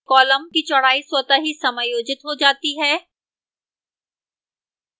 column की चौड़ाई स्वतः ही समायोजित हो जाती है